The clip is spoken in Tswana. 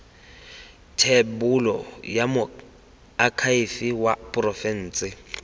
thebolo ya moakhaefe wa porofense